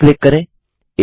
okay click करें